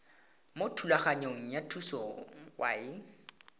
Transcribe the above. mo thulaganyong ya thuso y